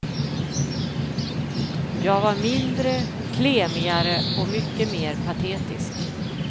Jag var mindre, klemigare och mycket mer patetisk.